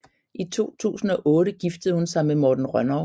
I 2008 giftede hun sig med Morten Rønnow